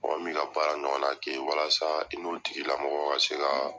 Mɔgɔ min bi ka baara ɲɔgɔnna kɛ, walasa i n'o tigilamɔgɔ ka se ka